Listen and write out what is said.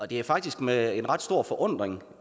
det er faktisk med en ret stor forundring